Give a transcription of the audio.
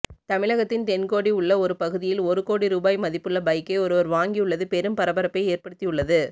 தமிழகத்தின் தென்கோடி உள்ள ஒரு பகுதியில் ஒரு கோடி ரூபாய் மதிப்புள்ள பைக்கை ஒருவர் வாங்கியுள்ளது பெரும் பரபரப்பை ஏற்படுத்தியுள்ளது